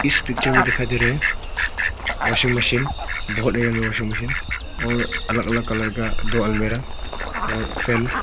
इस पिक्चर में दिखाई दे रहा है वाशिंग मशीन बहुत बड़ा वाशिंग मशीन और अलग अलग कलर का वगैरह।